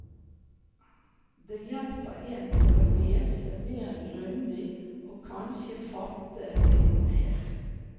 Det hjelper en til å lese mer grundig og kanskje fatte litt mer.